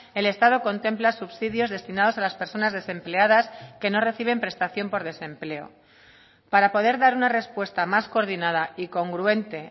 el estado contempla subsidios destinados a las personas desempleadas que no reciben prestación por desempleo para poder dar una respuesta más coordinada y congruente